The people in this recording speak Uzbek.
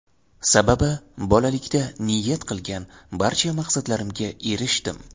Sababi bolalikda niyat qilgan barcha maqsadlarimga erishdim.